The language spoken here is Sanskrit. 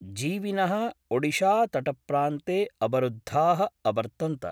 जीविन: ओडिशातटप्रान्ते अवरुद्धा: अवर्तन्त।